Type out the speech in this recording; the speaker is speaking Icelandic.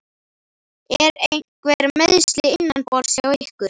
Eru einhver meiðsli innanborðs hjá ykkur?